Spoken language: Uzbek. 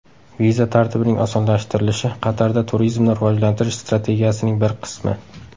Viza tartibining osonlashtirilishi Qatarda turizmni rivojlantirish strategiyasining bir qismi.